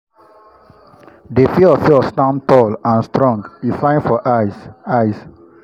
the fiofio stand tall and strong e fine for eyes. eyes.